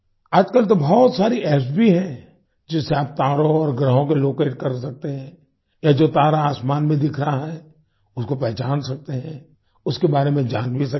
आज कल तो बहुत सारी एप्स भी हैं जिससे आप तारों और ग्रहों को लोकेट कर सकते है या जो तारा आसमान में दिख रहा है उसको पहचान सकते हैं उसके बारे में जान भी सकते हैं